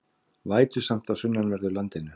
Vætusamt á sunnanverðu landinu